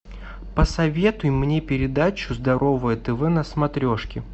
посоветуй мне передачу здоровое тв на смотрешке